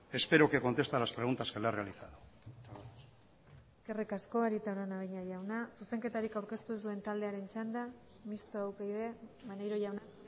espero que conteste a las preguntas que le he realizado eskerrik asko arieta araunabeña jauna zuzenketarik aurkeztu ez duen txanda mistoa upyd maneiro jauna